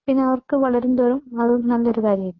പിന്നെ അവർക്ക് വളരുമ്പോഴും അത് നല്ലൊരു കാര്യം ആയിരിക്കും.